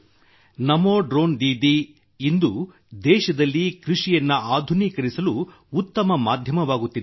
ನಮೋ drone Didi ಇಂದು ದೇಶದಲ್ಲಿ ಕೃಷಿಯನ್ನು ಆಧುನೀಕರಿಸಲು ಉತ್ತಮ ಮಾಧ್ಯಮವಾಗುತ್ತಿದ್ದಾರೆ